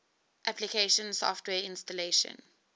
application software installation